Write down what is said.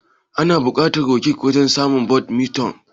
Ana bukatan raket wajen wasan badminton?